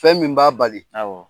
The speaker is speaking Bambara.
Fɛn min b'a bali